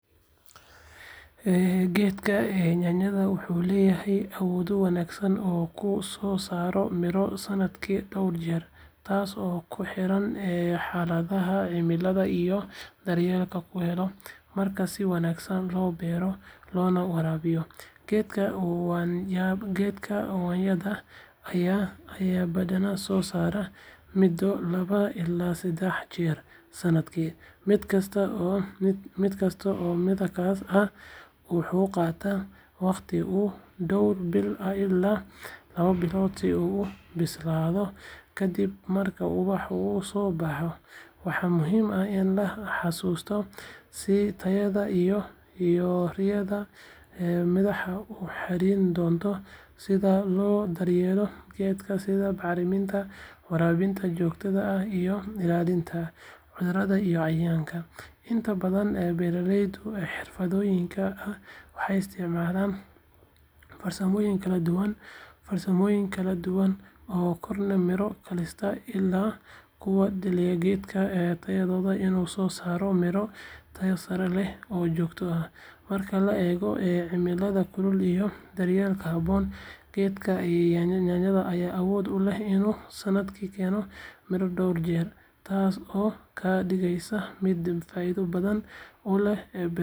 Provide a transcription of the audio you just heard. Geedka yaanyadu wuxuu leeyahay awoodo wanaagsan oo uu ku soo saaro midho sannadkii dhowr jeer, taasoo ku xiran xaaladaha cimilada iyo daryeelka uu helo. Marka si wanaagsan loo beero loona waraabiyo, geedka yaanyada ayaa badanaa soo saara midho laba ilaa saddex jeer sanadkii. Mid kasta oo midhahaas ah wuxuu qaataa wakhti ku dhow bil ilaa laba bilood si uu u bislaado kadib marka ubaxa uu soo baxo. Waxaa muhiim ah in la xasuusto in tayada iyo tirada midhaha ay ku xirnaan doonto sida loo daryeelo geedka, sida bacriminta, waraabinta joogtada ah, iyo ilaalinta cudurrada iyo cayayaanka. Inta badan beeralayda xirfadlayaasha ah waxay isticmaalaan farsamooyin kala duwan oo kordhiya miro dhalista, taasoo ka dhigaysa geedka yaanyada inuu soo saaro midho tayo sare leh oo joogto ah. Marka la eego cimilada kulul iyo daryeelka habboon, geedka yaanyada ayaa awood u leh inuu sannadkii keeno miro dhowr jeer, taasoo ka dhigaysa mid faa'iido badan u leh beeralayda iyo dadka jecel khudradda cusub.